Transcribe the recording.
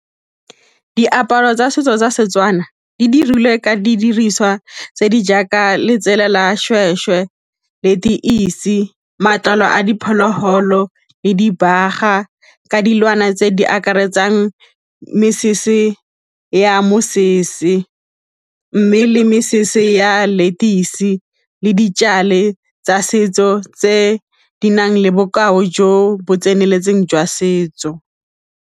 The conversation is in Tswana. Diaparo tsa setso tsa Setswana di dirilwe ka didiriswa tse di jaaka letsela la seshweshwe, letoisi, matlalo a diphologolo le dibaga ka dilwana tse di akaretsang mesese ya mosese mme le mesese ya letoisi le ditšale tsa setso tse di nang le bokao jo bo tseneletseng jwa setso.